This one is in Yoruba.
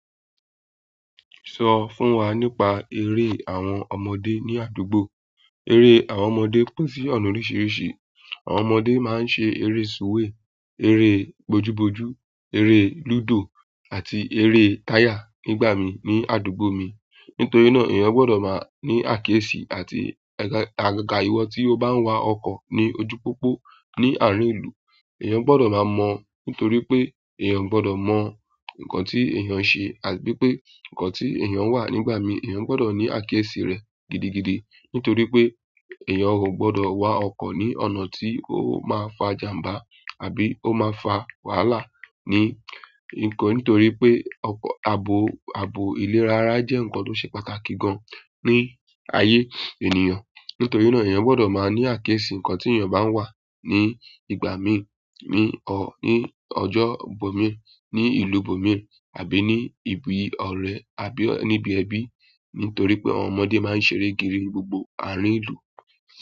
Sọ fún wa nípa eré àwọn ọmọdé ní àdúgbò. Eré àwọn ọmọdé pín sí ọ̀nà oríṣiríṣi. Àwọn ọmọdé máa ń ṣe eré súwè, eré bojúbojú, eré lúdò àti eré táyà nígbà mí, ní àdúgbò mi. Nítorí náà, èèyàn gbọ́dọ̀ máa ní àkíyèsí àti àgaga ìwọ tí ó bá wá ọkọ̀ ní ojú pópó ní àárín ìlú. Ẹ̀yàn gbọ́dọ̀ máa mọ̀ nítorí pé èèyàn o gbọ́dọ̀ mọ nǹkan tí èèyàn ṣe àbí pé nǹkan tí èèyàn wà nígbà mí. Ẹ̀yàn gbọ́dọ̀ ní àkíyèsí rẹ̀ gidigidi nítorí pé èèyàn ò gbọ́dọ̀ wa ọkọ̀ ní ọ̀nà tí ó máa fa ìjàmbá àbí ó máa fa wàhálà ni, nkan nítorí pe abo ile rara je nkan to se pàtàkì gan ni aye ènìyàn. Nítorí náà èèyàn gbọ́dọ̀ máa ní àkíyèsí nǹkan tí èèyàn bá wà ní ìgbà mí, ní ọjọ́ bomi, ní ìlú bomi àbí ní ibi ọ̀rẹ́ àbí níbi ẹbí nítorí pé àwọn ọmọdé máa ń ṣeré kiri gbogbo àárín ìlú.